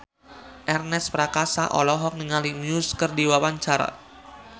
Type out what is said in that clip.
Ernest Prakasa olohok ningali Muse keur diwawancara